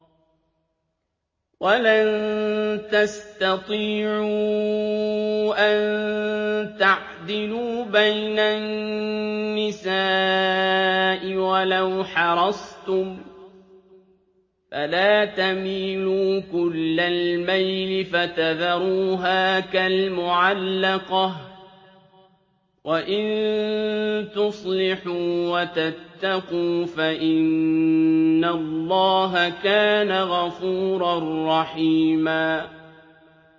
وَلَن تَسْتَطِيعُوا أَن تَعْدِلُوا بَيْنَ النِّسَاءِ وَلَوْ حَرَصْتُمْ ۖ فَلَا تَمِيلُوا كُلَّ الْمَيْلِ فَتَذَرُوهَا كَالْمُعَلَّقَةِ ۚ وَإِن تُصْلِحُوا وَتَتَّقُوا فَإِنَّ اللَّهَ كَانَ غَفُورًا رَّحِيمًا